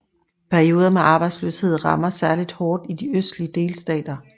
Perioder med arbejdsløshed rammer særlig hårdt i de østlige delstater